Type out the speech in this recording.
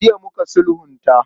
Jiya muka sulhunta.